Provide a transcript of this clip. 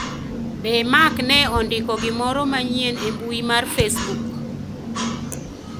Be Mark ne ondiko gimoro manyien e mbui mar facebook